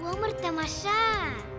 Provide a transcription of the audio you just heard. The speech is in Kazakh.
өмір тамаша